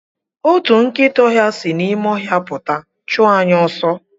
Otu nkịta ọhịa si n'ime ọhịa pụta chụọ anyị ọsọ.